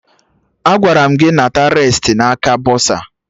Agwara m gị nata resiti na aka bọsa!